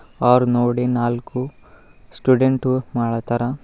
Hour ನೋಡಿ ನಾಲ್ಕು student ಮಾಡ್ಲಾತಾರ.